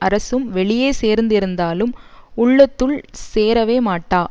அரசும் வெளியே சேர்ந்து இருந்தாலும் உள்ளத்துள் சேரவே மாட்டா